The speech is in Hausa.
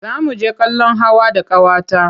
Za mu je kallon hawa da ƙawata.